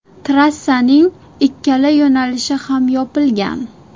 Trassaning ikkala yo‘nalishi ham yopilgan.